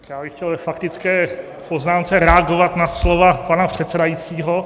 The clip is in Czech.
Já bych chtěl ve faktické poznámce reagovat na slova pana předsedajícího.